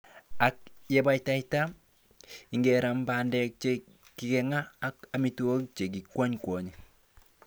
Ak yebataita, igeran bandek che kikinga ak amitwogik che kikwony kwonye.